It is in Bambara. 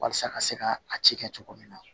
Walasa ka se ka a ci kɛ cogo min na